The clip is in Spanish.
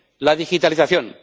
la digitalización